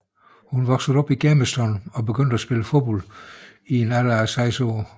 Hun voksede op i Germiston og begyndte at spille fodbold i en alder af 6 år